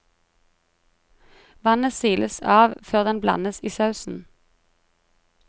Vannet siles av før den blandes i sausen.